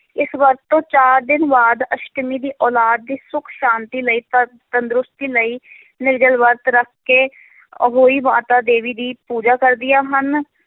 ਇਸ ਵਰਤ ਤੋਂ ਚਾਰ ਦਿਨ ਬਾਅਦ ਅਸ਼ਟਮੀ ਦੀ ਔਲਾਦ ਦੀ ਸੁੱਖ ਸ਼ਾਂਤੀ ਲਈ ਤੰਦ~ ਤੰਦਰੁਸਤੀ ਲਈ ਨਿਰਜਲ ਵਰਤ ਰੱਖ ਕੇ ਅਹੋਈ ਮਾਤਾ ਦੇਵੀ ਦੀ ਪੂਜਾ ਕਰਦੀਆਂ ਹਨ।